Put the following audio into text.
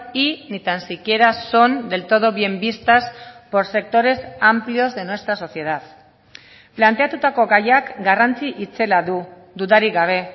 y ni tan siquiera son del todo bien vistas por sectores amplios de nuestra sociedad planteatutako gaiak garrantzi itzela du dudarik gabe